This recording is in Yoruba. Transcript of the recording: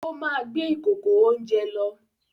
Ó máa gbé ìkòkò-oúnjẹ lọ.